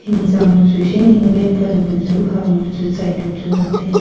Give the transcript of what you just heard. hingjang bu chu hinghing ley pan bu chu ham bu chu chai duh chu ngantaiya.